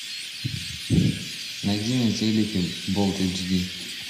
найди на телеке болт эйч ди